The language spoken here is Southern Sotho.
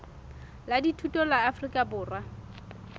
la dithuto la afrika borwa